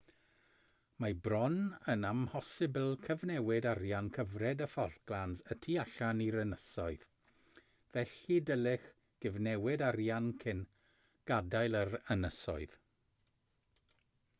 mae bron yn amhosibl cyfnewid arian cyfred y falklands y tu allan i'r ynysoedd felly dylech gyfnewid arian cyn gadael yr ynysoedd